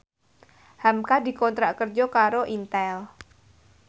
hamka dikontrak kerja karo Intel